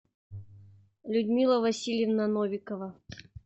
людмила васильевна новикова